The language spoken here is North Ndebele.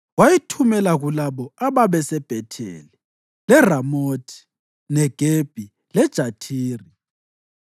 Wayithumela kulabo ababeseBhetheli, leRamothi Negebi leJathiri,